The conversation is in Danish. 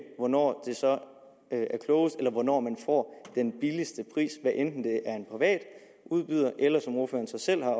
hvornår det så er klogest eller hvornår man får den billigste pris hvad enten det er en privat udbyder eller som ordføreren så selv har